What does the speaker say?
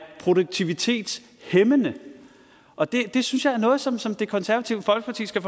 produktivitetshæmmende og det synes jeg er noget som som det konservative folkeparti skal